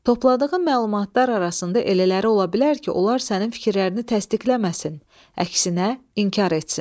Topladığın məlumatlar arasında elələri ola bilər ki, onlar sənin fikirlərini təsdiqləməsin, əksinə inkar etsin.